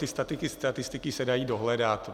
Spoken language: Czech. Ty statistiky se dají dohledat.